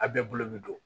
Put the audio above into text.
A bɛɛ bolo bi don